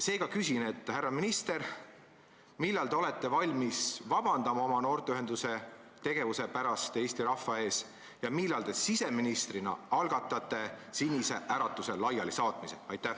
Seega küsin: härra minister, millal te olete valmis oma noorteühenduse tegevuse pärast Eesti rahva ees vabandama ja millal te siseministrina algatate Sinise Äratuse laialisaatmise?